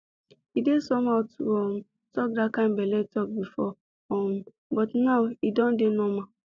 e dey somehow to um talk that kind belle talk before um but now e don dey normal